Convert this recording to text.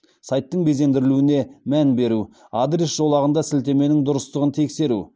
сайттың безендірілуіне мән беру адрес жолағында сілтеменің дұрыстығын тексеру